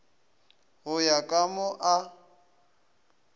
go ya ka mo a